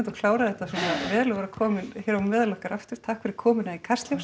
klárað þetta svona vel og vera komin á meðal okkar aftur takk fyrir komuna í Kastljós